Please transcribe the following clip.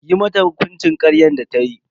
Yi mata hukuncin karyar da tayi.